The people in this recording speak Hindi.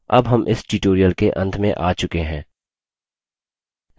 अब हम इस tutorial के अंत में आ चुके हैं